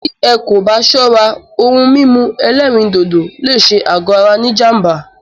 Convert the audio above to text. Tí ẹ́ kò bá ṣọ́rá, òhún mímú ẹ̀lẹ́rìndodò lé ṣé àgọ ara ní jám̀bá.